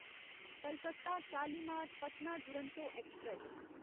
Calcutta Shalimar Patna Duronto express